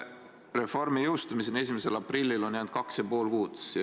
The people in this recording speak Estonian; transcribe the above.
Reformi jõustumiseni 1. aprillil on jäänud kaks ja pool kuud.